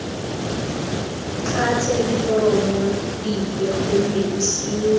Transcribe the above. tlatse diforomo dipe gonne bosenyi